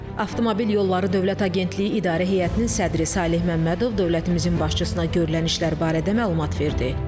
Avtomobil Yolları Dövlət Agentliyi İdarə Heyətinin sədri Saleh Məmmədov dövlətimizin başçısına görülən işlər barədə məlumat verdi.